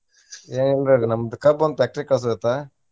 ಏನ್ ನಮ್ದ್ ಕಬ್ಬೊಂದ್ factory ಇಗ್ ಕಳ್ಸೊದಿತ್ತ.